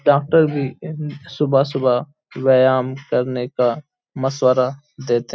doctor भी सुबह-सुबह व्यायाम करने का मशवरा देते --